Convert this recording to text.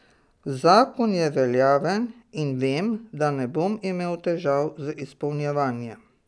Zakon je veljaven in vem, da ne bom imel težav z izpolnjevanjem.